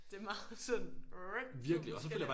Det meget sådan to forskellige